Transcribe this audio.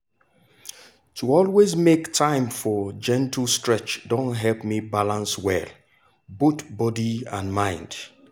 to always make time for gentle stretch don help me balance well both body and mind.